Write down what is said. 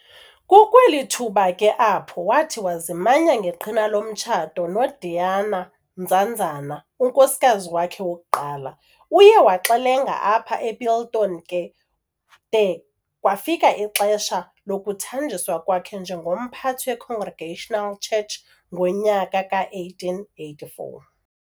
Kukweli thuba ke apho wathi wazimanya ngeqhina lomtshato noDeena Nzanzana, unkosikazi wakhe wokuqala. Uye waxelenga apha ePiltoni ke de kwafika ixesha lokuthanjiswa kwakhe njengomphathi weCongregational Church ngonyaka ka-1884.